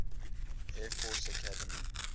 air force academy